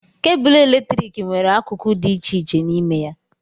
Kebụlụ eletrik nwere akụkụ dị iche iche n'ime ya.